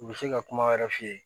U bɛ se ka kuma wɛrɛ f'i ye